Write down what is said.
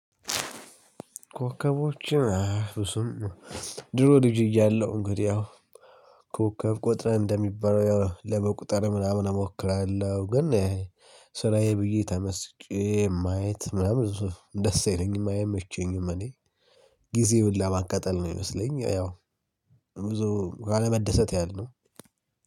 ኮከቦችን አይ ብዙም ድሮ ልጅ እያለሁ እንግዲህ ያው ኮከብ ቆጥረን እንደሚባለው ያው ለመቁጠር ምናምን እሞክራለሁ ግን ስራዬ ብዬ ተመስጬ ማየት ምናምን ብዙ ደስ የለኝም አይመቸኝም። እኔ ጊዜ ሁላ ማቃጠል ነው የሚምስለኝ። ያው ብዙ ካለመደሰት ያህል ነው።